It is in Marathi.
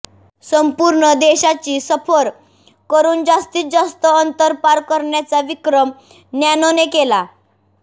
संपूर्ण देशाची सफर करुन जास्तीत जास्त अंतर पार करण्याचा विक्रम नॅनोने केला